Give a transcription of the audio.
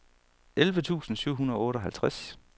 elleve tusind syv hundrede og otteoghalvtreds